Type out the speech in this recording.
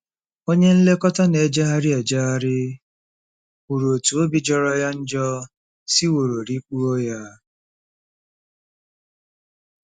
Onye nlekọta na-ejegharị ejegharị kwuru otú obi jọrọ ya njọ siworo rikpuo ya.